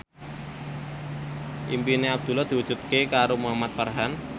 impine Abdullah diwujudke karo Muhamad Farhan